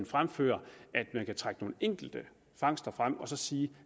fremfører at man kan trække nogle enkelte fangster frem og sige